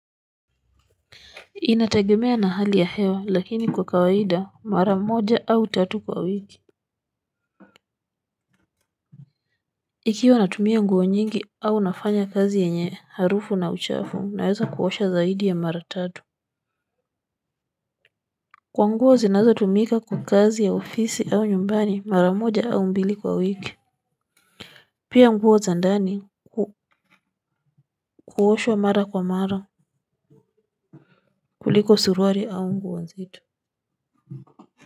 Inatagemea na hali ya hewa lakini kwa kawaida mara moja au tatu kwa wiki. Ikiwa natumia nguo nyingi au nafanya kazi yenye harufu na uchafu naweza kuosha zaidi ya mara tatu. Kwa nguo zinazo tumika kwa kazi ya ofisi au nyumbani mara moja au mbili kwa wiki. Pia nguo zandani kuoshwa mara kwa mara kuliko suruari au nguo zito.